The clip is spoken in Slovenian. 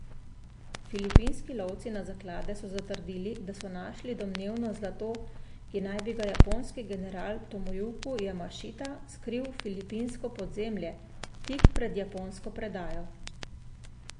Filipinski lovci na zaklade so zatrdili, da so našli domnevno zlato, ki bi ga naj japonski general Tomojuki Jamašita skril v filipinsko podzemlje, tik pred japonsko predajo.